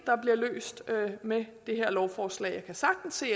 løst med det her lovforslag jeg kan sagtens se